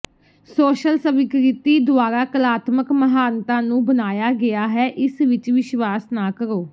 social ਸਵੀਕ੍ਰਿਤੀ ਦੁਆਰਾ ਕਲਾਤਮਕ ਮਹਾਨਤਾ ਨੂੰ ਬਣਾਇਆ ਗਿਆ ਹੈ ਇਸ ਵਿੱਚ ਵਿਸ਼ਵਾਸ ਨਾ ਕਰੋ